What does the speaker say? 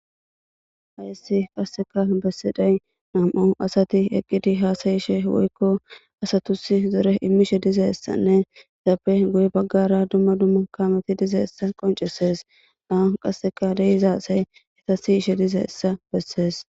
aysi qasseka bessiday nam7o asati eqqidi haasayishe woykko asatusi zore immishe dizessanne zaappe goye baggara dumma dumma kaameti diza essa qoncesees aan qasseka deyizaasay eta siyishe diza essa bessees